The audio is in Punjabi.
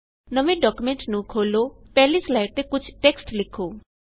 ਨਵੇ ਡਾਕਯੂਮੈਂਟ ਨੂੰ ਖੋਲੋ ਪਹਿਲੀ ਸਲਾਇਡ ਤੇ ਕੁਝ ਟੇਕ੍ਸਟ ਲਿੱਖੋ